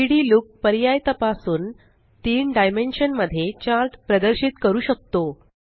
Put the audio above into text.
3डी लूक पर्याय तपासून तीन डायमेंशन मध्ये चार्ट प्रदर्शित करू शकतो